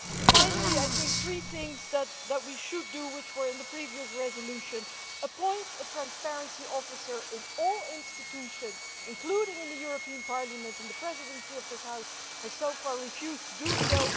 Finally, I think there are three things that we should do which were in the previous resolution appoint a transparency officer in all institutions, including in the Parliament, and the Presidency of this House has so far refused to do so